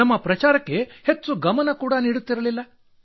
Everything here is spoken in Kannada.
ನಮ್ಮ ಪ್ರಚಾರಕ್ಕೆ ಹೆಚ್ಚು ಗಮನ ಕೂಡಾ ನೀಡುತ್ತಿರಲಿಲ್ಲ